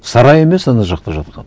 сарай емес ана жақта жатқан